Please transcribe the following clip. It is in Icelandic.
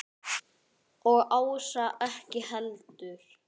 Og Ása ekki heldur.